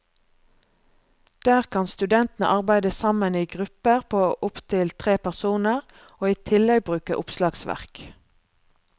Der kan studentene arbeide sammen i grupper på opptil tre personer, og i tillegg bruke oppslagsverk.